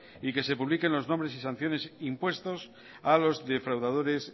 y que se publiquen los nombres y sanciones impuestos a los defraudadores